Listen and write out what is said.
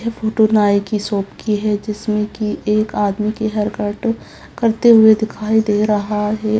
यह फोटो एक नाई की शॉप की है जिसमें की एक आदमी की हेयर कट करते हुए दिखाई दे रहा है।